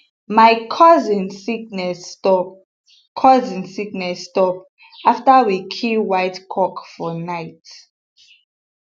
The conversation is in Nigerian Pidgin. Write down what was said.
my cousin sickness stop cousin sickness stop after we kill white cock for night